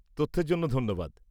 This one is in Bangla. তথ্যের জন্য ধন্যবাদ।